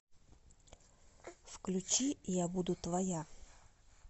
включи я буду твоя